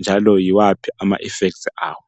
njalo yiwaphi ama effects awo.